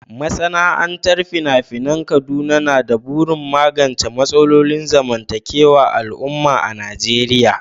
Masana'antar fina-finan Kaduna na da burin magance matsalolin zamantakewar al'umma a Najeriya